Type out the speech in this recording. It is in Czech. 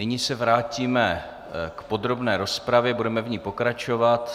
Nyní se vrátíme k podrobné rozpravě, budeme v ní pokračovat.